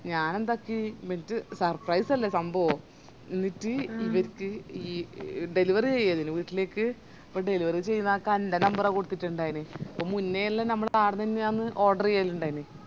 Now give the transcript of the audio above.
ഞാനെൻന്താക്കി ഇവർക്ക് surprice അല്ലെ സംഭവം ന്നീട് ഇവര്ക്ക് ഈ delivery ചെയ്തൂലെ വീട്ടിലേക്ക് അപ്പൊ delivery ചെയുന്നക്ക് അന്റെ number ആ കൊടുത്തിറ്റുണ്ടായിന്